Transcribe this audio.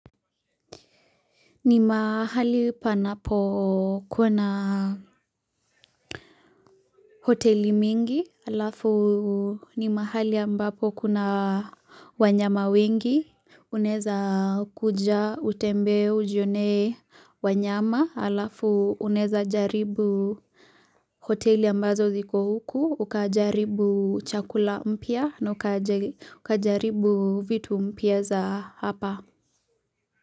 Ni mahali panapo kuna hoteli mingi alafu ni mahali ambapo kuna wanyama wengi unaweza kuja utembe ujione wanyama alafu unaweza jaribu hoteli ambazo ziko huku ukajaribu chakula mpia na ukajaribu vitu mpia za hapa.